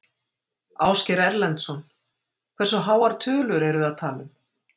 Ásgeir Erlendsson: Hversu háar tölur erum við að tala um?